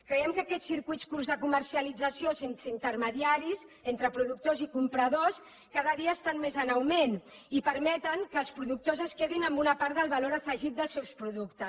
creiem que aquests circuits curts de comercialització sense intermediaris entre productors i compradors cada dia estan més en augment i permeten que els productors es quedin amb una part del valor afegit dels seus productes